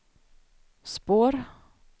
spår